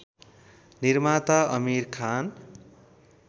निर्माता आमिर खान